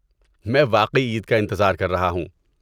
میں واقعی عید کا انتظار کر رہا ہوں۔